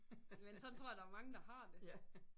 Men sådan tror jeg der er mange der har det